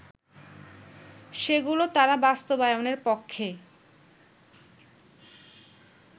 সেগুলো তারা বাস্তবায়নের পক্ষে